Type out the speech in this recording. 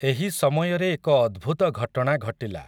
ଏହି ସମୟରେ ଏକ ଅଦ୍ଭୁତ ଘଟଣା ଘଟିଲା ।